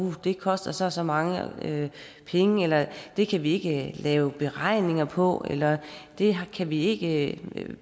det koster så og så mange penge eller det kan vi ikke lave beregninger på eller det kan vi ikke